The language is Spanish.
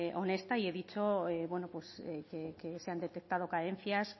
honesta y he dicho que se han detectado carencias